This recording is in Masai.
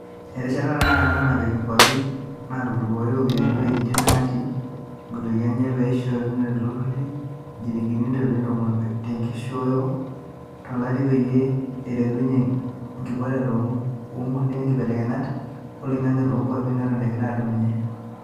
Erishata tenakata ena napiki nguapi naatodupate iropiyiani wejitin naati ngutukia enye neishakinore aiturur injilingini intrilioni tomon tenkitisho (indolai ibilioni iip) to lari peyie eretunye nkibooreta ongulia kibelekenyat oloingange toonkuapi neton egira aadumunye.